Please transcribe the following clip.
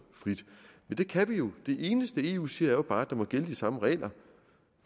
men det kan vi jo det eneste eu siger er jo bare at der må gælde de samme regler